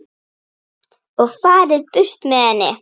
og farið burt með henni.